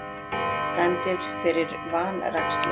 Dæmdir fyrir vanrækslu